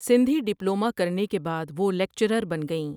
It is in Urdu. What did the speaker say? سندھی ڈپلومہ کرنے کے بعد وہ لیکچرار بن گئیں ۔